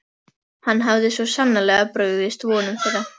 Hann hafði svo sannarlega brugðist vonum þeirra.